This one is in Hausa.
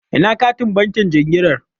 Ina katin bankin jinginar?